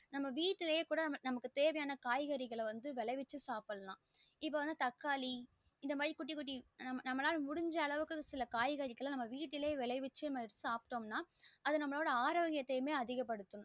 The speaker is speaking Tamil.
நம்ம வீட்லே குட நமக்கு தேவையான காய்கறிகள விலைவிச்சு சாப்டலாம் இப்போ வந்து தக்காளி இந்த மாறி குட்டி குட்டி நமலாலா முடிஞ்சா அளவு காய்கரிங்கள நம்ம விட்டுலே விளைவிச்சு சாப்டோம் நா நமலோடிய ஆரோக்கியத அதிக படுத்தும்